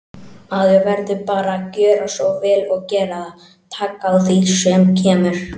Maður verður bara að gjöra svo vel og gera það, taka á því sem kemur.